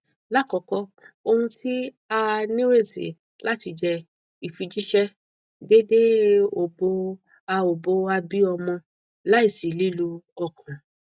lakoko ohun ti a nireti lati jẹ ifijiṣẹ deede obo a obo a bi ọmọ laisi lilu ọkan